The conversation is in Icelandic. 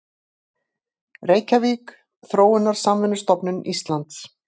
Reykjavík: Þróunarsamvinnustofnun Íslands.